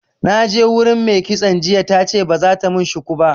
Na je wurin me kitson jiya tace ba zata mun shuku ba